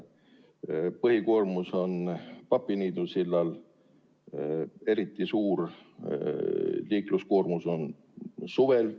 Põhikoormus on Papiniidu sillal, eriti suur on selle liikluskoormus suvel.